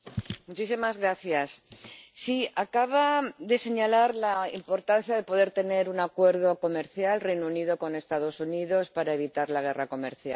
Señor Etheridge, acaba de señalar la importancia de poder tener un acuerdo comercial —el Reino Unido con los Estados Unidos— para evitar la guerra comercial.